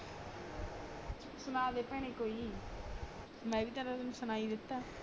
ਸੁਣਾ ਦੇ ਭੈਣੇ ਕੋਈ ਵੀ ਮੈਂ ਵੀ ਤਾ ਤੈਨੂੰ ਸੁਨਾਇ ਦਿਤਾ